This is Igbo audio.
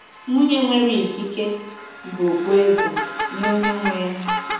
“Nwunye nwere ikike bụ okpueze nye onye nwe ya”